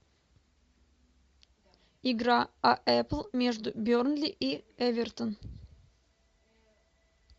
игра апл между бернли и эвертон